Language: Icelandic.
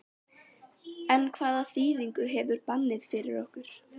En hvaða þýðingu hefur bannið fyrir okkur?